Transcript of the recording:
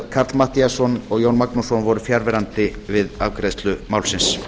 karl matthíasson og jón magnússon voru fjarverandi við afgreiðslu málsins